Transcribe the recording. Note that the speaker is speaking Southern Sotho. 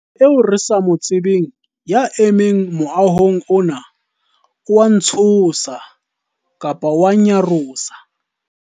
motho eo re sa mo tsebeng ya emeng moahong ona o a ntshosa, nnyarosa